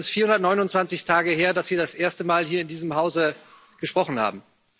Sondern es ist 429 Tage her, dass Sie das erste Mal hier in diesem Hause gesprochen haben.